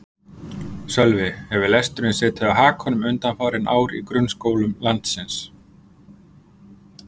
Sölvi: Hefur lesturinn setið á hakanum undanfarin ár í grunnskólum landsins?